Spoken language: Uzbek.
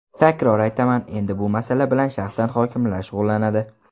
Takror aytaman, endi bu masala bilan shaxsan hokimlar shug‘ullanadi.